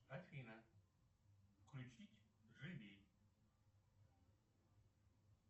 афина включить живи